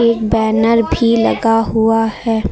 एक बैनर भी लगा हुआ है।